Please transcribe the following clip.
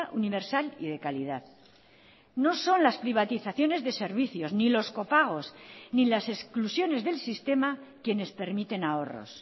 universal y de calidad no son las privatizaciones de servicios ni los copagos ni las exclusiones del sistema quienes permiten ahorros